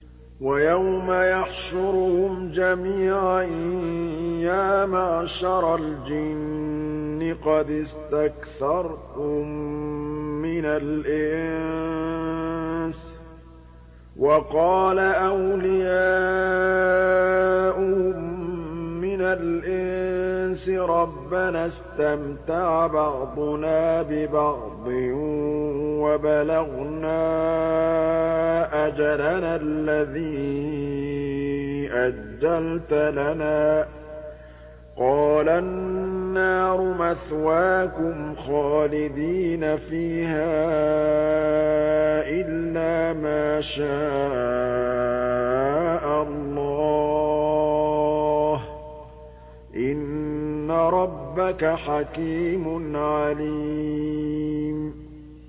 وَيَوْمَ يَحْشُرُهُمْ جَمِيعًا يَا مَعْشَرَ الْجِنِّ قَدِ اسْتَكْثَرْتُم مِّنَ الْإِنسِ ۖ وَقَالَ أَوْلِيَاؤُهُم مِّنَ الْإِنسِ رَبَّنَا اسْتَمْتَعَ بَعْضُنَا بِبَعْضٍ وَبَلَغْنَا أَجَلَنَا الَّذِي أَجَّلْتَ لَنَا ۚ قَالَ النَّارُ مَثْوَاكُمْ خَالِدِينَ فِيهَا إِلَّا مَا شَاءَ اللَّهُ ۗ إِنَّ رَبَّكَ حَكِيمٌ عَلِيمٌ